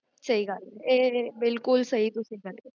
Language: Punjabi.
ਵਸ੍ਦ